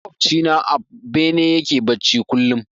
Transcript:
Maƙoci na a bene yake bacci kullum.